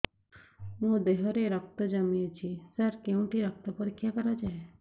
ମୋ ଦିହରେ ରକ୍ତ କମି ଅଛି ସାର କେଉଁଠି ରକ୍ତ ପରୀକ୍ଷା କରାଯାଏ